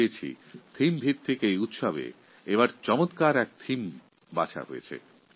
প্রতি বছরই এই উৎসবের একটি থিম থাকে